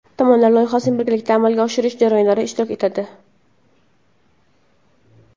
Tomonlar loyihalarning birgalikda amalga oshirish jarayonlarida ishtirok etadi.